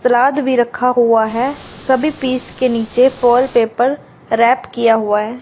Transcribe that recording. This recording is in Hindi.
सलाद भी रखा हुआ है सभी पीस के नीचे फोइल पेपर रैप किया हुआ है।